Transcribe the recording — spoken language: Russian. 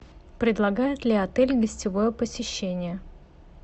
предлагает ли отель гостевое посещение